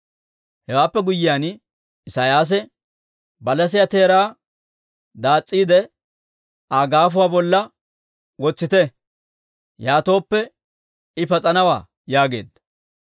Hewaappe guyyiyaan Isiyaasi, «Balasiyaa teeraa daas's'iide, Aa gaafuwaa bolla wotsite. Yaatooppe I pas'anawaa» yaageedda.